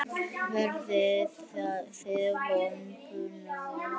Verðið þið vopnuð?